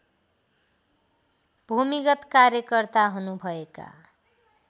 भूमिगत कार्यकर्ता हुनुभएका